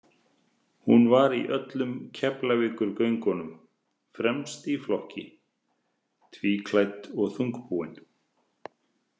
Hún var í öllum Keflavíkurgöngunum, fremst í flokki, tvíddklædd og þungbúin.